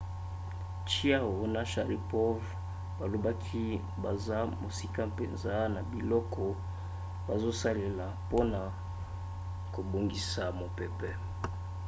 chiao na sharipov balobaki baza mosika mpenza na biloko bazosalela mpona kobongisa mopepe